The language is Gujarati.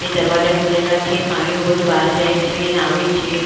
એ દરવાજા ખુલેલા છે પાણીઓ બધું બહાર જાય છે અને આવે છે અને--